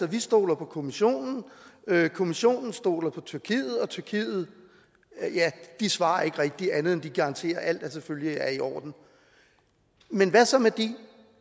vi stoler på kommissionen kommissionen stoler på tyrkiet og tyrkiet svarer ikke rigtig andet end at de garanterer at alt selvfølgelig er i orden men